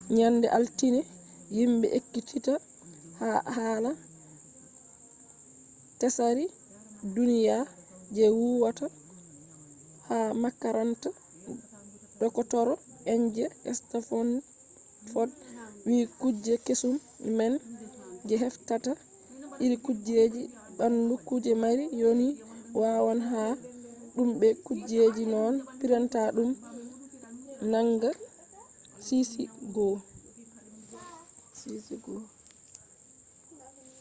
nyande altine himɓe ekkititta hala tsari duniya je huwata ha makaranta dokotoro en je stanfod wi kuje kesum man je heftata iri kujeji ɓandu kuje mari yonki wawan maha ɗum be kujeji noone printa ɗum nanga sisi 1